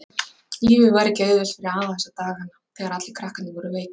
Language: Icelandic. Lífið var ekki auðvelt fyrir afa þessa daga þegar allir krakkarnir voru veikir.